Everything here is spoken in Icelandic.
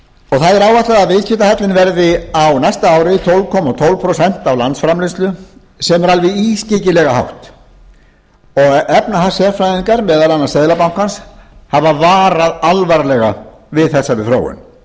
það er áætlað að viðskiptahallinn verði á næsta ári tólf komma tvö prósent af landsframleiðslu sem er alveg ískyggilega hátt og efnahagssérfræðingar meðal annars seðlabankans hafa varað alvarlega við þessari þróun